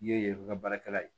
Ye baarakɛla ye